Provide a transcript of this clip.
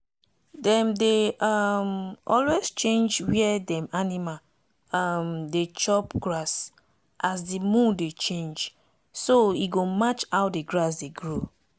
dem dey um always change where dem animal um dey chop grass as the moon dey changeso e go match how the grass dey grow.